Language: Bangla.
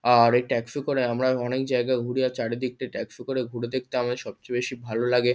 আর এই ট্যাক্সি করে আমরা অনেক জায়গায় ঘুরি। চারিদিকটা ট্যাক্সি করে ঘুরে দেখতে আমাদের সবচেয়ে বেশি ভালো লাগে।